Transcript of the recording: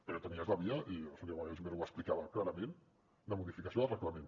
però tenies la via i el senyor wagensberg ho explicava clarament de modificació de reglament